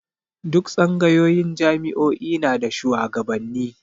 Duk tsangayoyin jami'o'i na da shuwagabanni